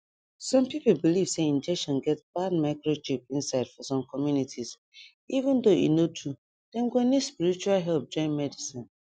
some people believe say injection get bad microchip inside for some communities even tho e no true say dem go need spiritual help join medicine